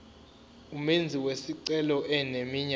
umenzi wesicelo eneminyaka